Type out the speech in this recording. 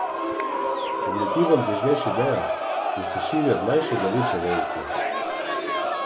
Z netivom prižgeš idejo in se širi od manjše do večje vejice.